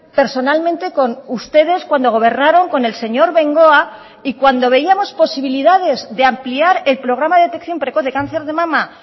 personalmente con ustedes cuando gobernaron con el señor bengoa y cuando veíamos posibilidades de ampliar el programa de detección precoz de cáncer de mama